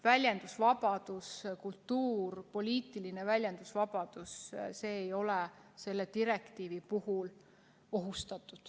Väljendusvabadus, kultuur, poliitiline väljendusvabadus – need ei ole selle direktiivi puhul ohustatud.